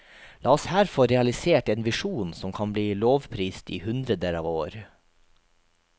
La oss her få realisert en visjon som kan bli lovprist i hundreder av år.